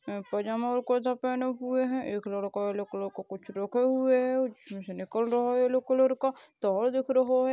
पैंजामा और कुर्ता पहनें हुए है। एक लड़का येल्लो कलर का कुछ रखे हुए है और उसमें से निकल रहा है। येलो कलर का तार दिख रहा है।